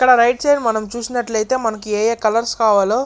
ఇక్కడ right side మనం చూసినట్లయితే మనకి ఎంఎం కలర్స్ కావాలో --